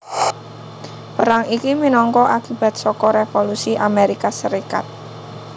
Perang iki minangka akibat saka Revolusi Amérika Sarékat